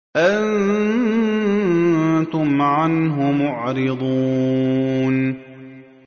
أَنتُمْ عَنْهُ مُعْرِضُونَ